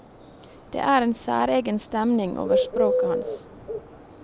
Det er en særegen stemning over språket hans.